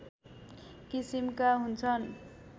किसिमका हुन्छन्